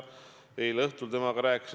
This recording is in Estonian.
Eile õhtul ma rääkisin temaga.